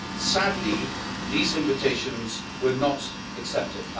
Sadly, these invitations were not accepted.